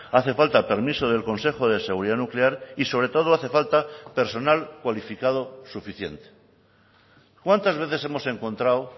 hace falta permiso del consejo de seguridad nuclear y sobre todo hace falta personal cualificado suficiente cuántas veces hemos encontrado